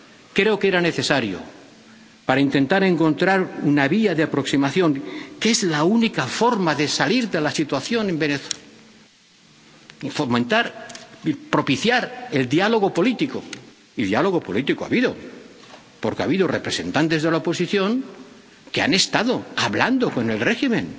Creo que era necesario para intentar encontrar una vía de aproximación, que es la única forma de salir de la situación en Venezuela, y fomentar y propiciar el diálogo político, y diálogo político ha habido, porque ha habido representantes de la oposición que han estado hablando con el régimen